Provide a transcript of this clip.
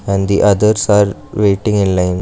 and the others are waiting in line.